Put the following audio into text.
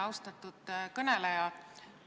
Austatud kõneleja!